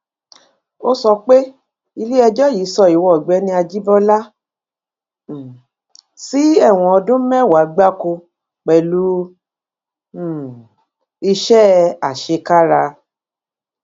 ó sọ pé iléẹjọ yìí sọ ìwo ọgbẹni àjíbọlá um sí ẹwọn ọdún mẹwàá gbáko pẹlú um iṣẹ àṣekára